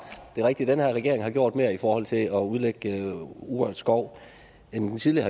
det er rigtigt at den her regering har gjort mere i forhold til at udlægge urørt skov end den tidligere